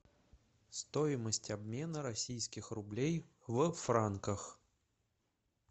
стоимость обмена российских рублей в франках